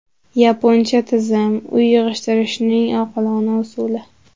Yaponcha tizim: uy yig‘ishtirishning oqilona usuli.